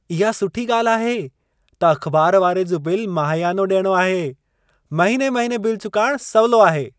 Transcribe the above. इहा सुठी ॻाल्हि आहे त अख़बार वारे जो बिल माहियानो ॾियणो आहे। महीने -महीने बिल चुकाइणु सवलो आहे।